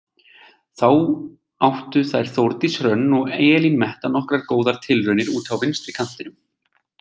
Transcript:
Þá áttu þær Þórdís Hrönn og Elín Metta nokkrar góðar tilraunir úti á vinstri kantinum.